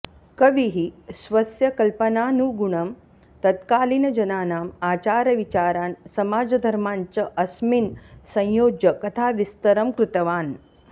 कविः स्वस्य कल्पनानुगुणं तत्कालीनजनानाम् आचारविचारान् समाजधर्मान् च अस्मिन् संयोज्य कथाविस्तरं कृतवान्